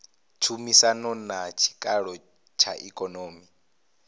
tshumisano na tshikalo tsha ikonomi